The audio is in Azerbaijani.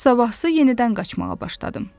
Sabahsı yenidən qaçmağa başladım.